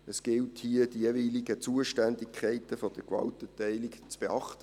Es gilt hier, die jeweiligen Zuständigkeiten der Gewaltenteilung zu beachten.